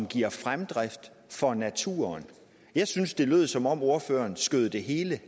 give fremdrift for naturen jeg synes det lød som om ordføreren skød det hele